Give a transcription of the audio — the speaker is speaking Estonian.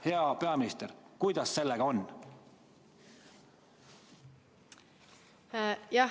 Hea peaminister, kuidas sellega on?